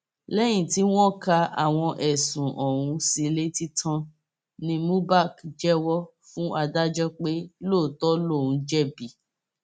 lẹyìn tí wọn ka àwọn ẹsùn ọhún sí i létí tán ní mubak jẹwọ fún adájọ pé lóòótọ lòún jẹbi